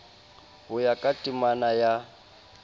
ho ya ka temana ya